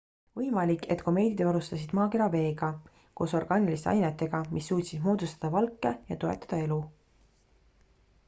võimalik et komeedid varustasid maakera veega koos orgaaniliste ainetega mis suutsid moodustada valke ja toetada elu